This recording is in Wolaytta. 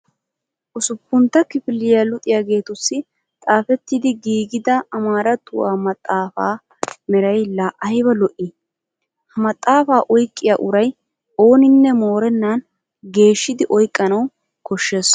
Usuppuntta kifilya luxiyageetussi xaafettidi giigida amaarattuwa maxaafaa meray laa ayba lo'ii? Ha maxaafaa oyqqiya uray ooninne moorennan geeshshidi oyqqanawu koshshees.